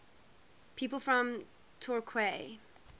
people from torquay